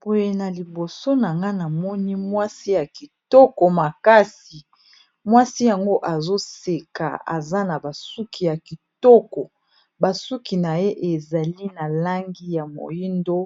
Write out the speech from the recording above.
Boye na liboso nanga namoni mwasi ya kitoko makasi mwasi yango azoseka aza na basuki ya kitoko basuki na ye ezali na langi ya moindo